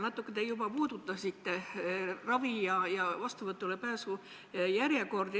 Natuke te juba puudutasite ravi- ja vastuvõtule pääsu järjekordi.